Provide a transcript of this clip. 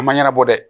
A ma ɲɛnabɔ dɛ